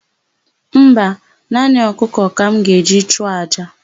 Mba, naanị ọkụkọ ka m ga-eji chụọ àjà.